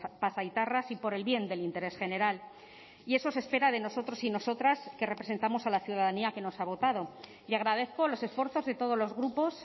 pasaitarras y por el bien del interés general y eso se espera de nosotros y nosotras que representamos a la ciudadanía que nos ha votado y agradezco los esfuerzos de todos los grupos